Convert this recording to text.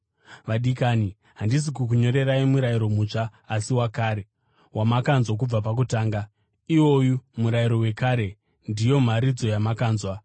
Vadikani, handisi kukunyorerai murayiro mutsva asi wakare, wamakanzwa kubva pakutanga. Iwoyu murayiro wekare ndiyo mharidzo yamakanzwa.